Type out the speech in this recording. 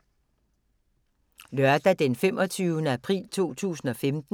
Lørdag d. 25. april 2015